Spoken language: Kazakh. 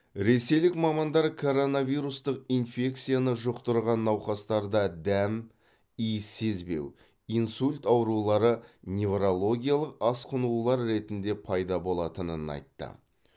ресейлік мамандар коронавирустық инфекцияны жұқтырған науқастарда дәм иіс сезбеу инсульт аурулары неврологиялық асқынулар ретінде пайда болатынын айтты